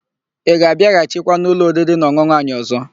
Ị ga-abịaghachikwa n'ụlọ oririnaọn̄ụn̄ụ anyị ọ̀zọ́?